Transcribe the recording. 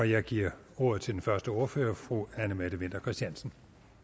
jeg giver ordet til den første ordfører fru anne mette winther christiansen